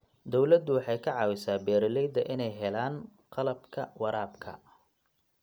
Dawladdu waxay ka caawisaa beeralayda inay helaan qalabka waraabka.